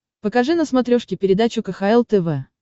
покажи на смотрешке передачу кхл тв